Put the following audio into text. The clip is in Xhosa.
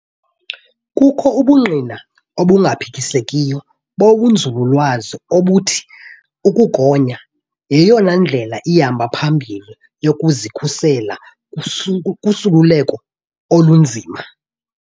Kukho ubungqina obungaphikisekiyo bobunzululwazi obuthi ukugonya yeyona ndlela ihamba phambili yokuzikhusela kusukuleko olunzima.